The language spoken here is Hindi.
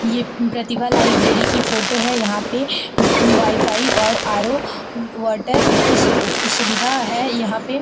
ये प्रतिभा लाइब्रेरी की फोटो है। यहाँ पे वाईफाई और आर.ओ. वाटर की सुविधा है यहाँ पे।